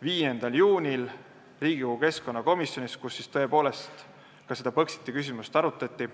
5. juunil Riigikogu keskkonnakomisjonis, kus seda Põxiti küsimust arutati.